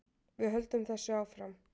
Við höldum þessu áfram